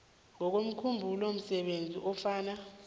ngokomkhumbulo msebenzi ofana